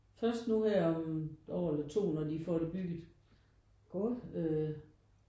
Først nu her om 1 år eller 2 når de får det bygget øh